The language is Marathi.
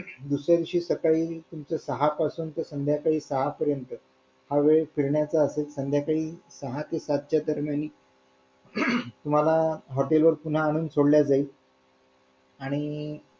आणि दुसऱ्या दिवशी सकाळी तुमचं सहा पासून ते संध्याकाळी सहा पर्यंत हा वेळ फिरण्याचा असेल तुम्हाला संध्याकाळी सहा ते सात च्या दरम्यान तुम्हाला hotel वर पुन्हा आणून सोडलं जाईल आणि